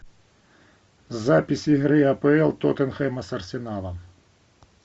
запись игры апл тоттенхэма с арсеналом